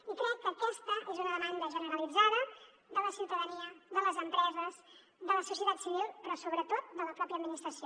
i crec que aquesta és una demanda generalitzada de la ciutadania de les empreses de la societat civil però sobretot de la pròpia administració